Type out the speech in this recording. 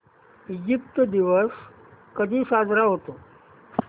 Egypt दिवस कधी साजरा होतो